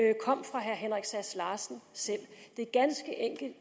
herre sass larsen